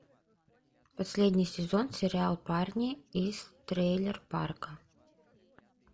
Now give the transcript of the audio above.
последний сезон сериал парни из трейлер парка